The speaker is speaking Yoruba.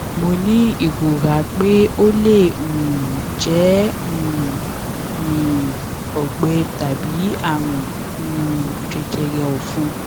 mo ní ìrora pé ó lè um jẹ um um ọgbẹ tàbí àrùn um jẹjẹrẹ ọfun